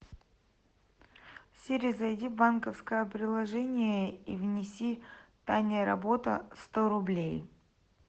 сири зайди в банковское приложение и внеси таня работа сто рублей